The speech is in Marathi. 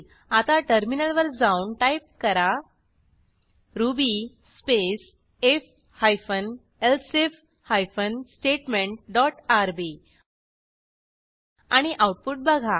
आता टर्मिनलवर जाऊन टाईप करा ruby space I F hyphen elsif hyphen statement dot R B आणि आऊटपुट बघा